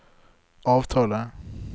avtale